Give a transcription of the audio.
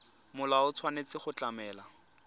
molao o tshwanetse go tlamela